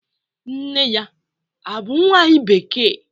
Nne ya bu nwanyi bekee?